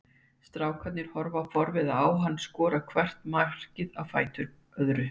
Strákarnir horfa forviða á hann skora hvert markið á fætur öðru.